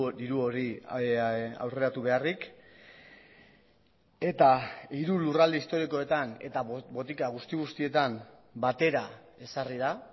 diru hori aurreratu beharrik eta hiru lurralde historikoetan eta botika guzti guztietan batera ezarri da